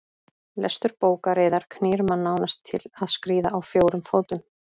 Lestur bókar yðar knýr mann nánast til að skríða á fjórum fótum.